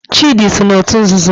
Chidi so n'otu nzuzo